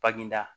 Baginda